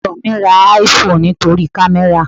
Ìjọ mi ra IPhone nítorí kamera.